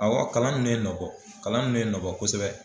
Awɔ kalan ninnu nɔ bɔ kalan ninnu ye nɔ bɔ kosɛbɛ.